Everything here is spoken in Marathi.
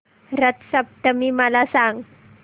रथ सप्तमी मला सांग